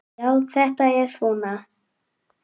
Já, þetta er svona.